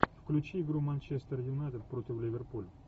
включи игру манчестер юнайтед против ливерпуля